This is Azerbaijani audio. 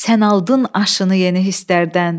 Sən aldın aşını yeni hisslərdən.